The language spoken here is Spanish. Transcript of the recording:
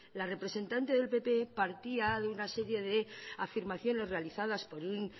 la representante del pp partía de una serie de afirmaciones realizadas por un